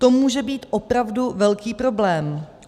To může být opravdu velký problém.